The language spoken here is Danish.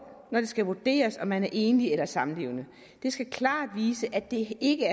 når det skal vurderes om man er enlig eller samlevende den skal klart vise at det ikke